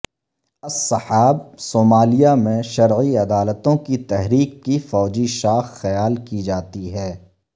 al Shabaab Somalia میں شرعی عدالتوں کی تحریک کی فوجی شاخ خیال کی جاتی ہے